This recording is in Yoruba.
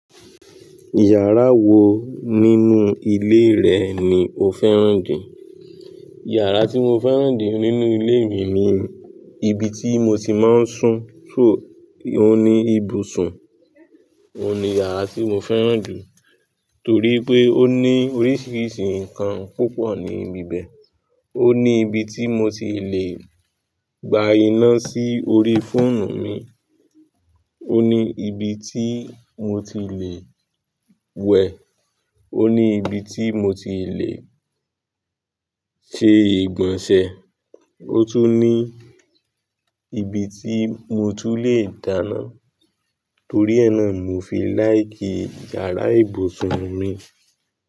Yàrá wo nínú ilé rẹ̀ ni o fẹ́ràn jù? Yàrá tí mo fẹ́ràn jù nínú ilé mi ni ibi tí mo ti máa ń sùn. So, óun ní ibùsùn, ó n ní yàrá tí mo fẹ́ràn jù torí pé ó ní oríṣiríṣi nǹkan púpọ̀ níbí bẹ́ẹ̀. Ó ní ibi tí mo ti lè gba iná sí orí fóònù mi, ó ní ibi tí mo ti lè wẹ̀, ó ní ibi tí mo ti lè ṣe ìgbọ̀nsẹ̀, ó tún ní ibi tí mo tún lè dáná. Torí ẹ́ náà mo fi láìkì yàrá ìbùsùn mi.